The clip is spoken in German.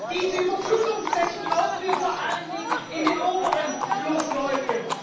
Diese Überflutungsflächen brauchen wir vor allen Dingen in den oberen Flussläufen.